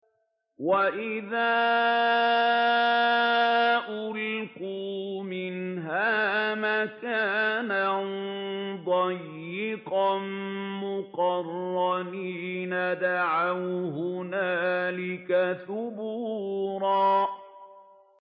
وَإِذَا أُلْقُوا مِنْهَا مَكَانًا ضَيِّقًا مُّقَرَّنِينَ دَعَوْا هُنَالِكَ ثُبُورًا